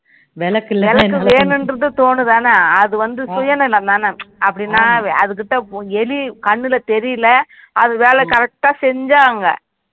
விளக்கு வேணும்றது தோணும் தானே அது வந்து சுயநலம் தானே அப்படினா அது கிடா எலி கண்ணுல தெரியல அது வேலை correct டா செஞ்சாங்க